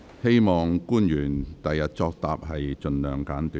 希望官員作答時能盡量精簡。